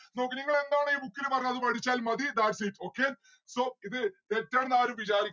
നോക്ക് നിങ്ങൾ എന്താണോ ഈ book ല് പറഞ്ഞേ അത് പഠിച്ചാൽ മതി thats it okay. so ഇത് തെറ്റാണെന്ന് ആരും വിജാരി